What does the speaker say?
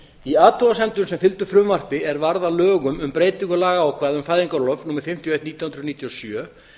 í athugasemdum sem fylgdu frumvarpi er varð að lögum um breytingu lagaákvæða um fæðingarorlof númer fimmtíu og eitt nítján hundruð níutíu og sjö